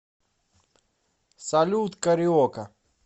салют кариока